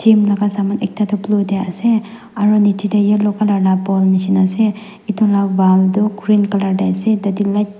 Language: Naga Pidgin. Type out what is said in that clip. Gym laga saman ekta tuh blue dae ase aro nechidae yellow colour lah ball neshina ase etu lah wall tuh green colour dae ase tatey light --